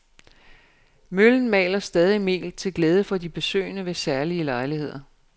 Møllen maler stadig mel til glæde for de besøgende ved særlige lejligheder.